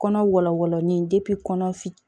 Kɔnɔ walawalanlen kɔnɔ fili